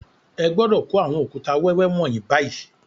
Ẹ gbọ́dọ̀ kó àwọn òkúta wẹ́wẹ́ wọ̀nyí báyìí